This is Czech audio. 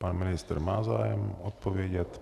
Pan ministr má zájem odpovědět.